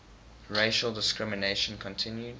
racial discrimination continued